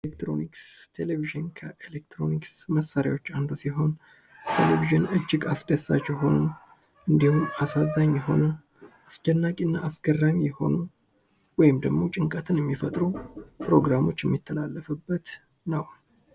ኤሌክትሮኒክስ ቴሌቪዥን ከኤሌክትሮኒክስ መሳሪያዎች አንዱ ሲሆን ቴሌቪዥን እጅግ አስደሳች እንድሁም አሳዛኝ የሆኑ አስደናቂ እና አስገራሚ የሆኑ ወይም ደግሞ ጭንቀትን የሚፈጥሩ ፕሮግራሞች የሚተላለፍበት ነው።